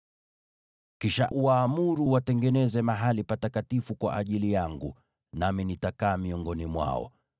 “Kisha uwaamuru wanitengenezee mahali patakatifu, nami nitakaa miongoni mwao.